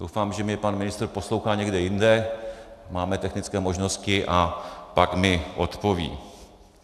Doufám, že mě pan ministr poslouchá někde jinde, máme technické možnosti, a pak mi odpoví.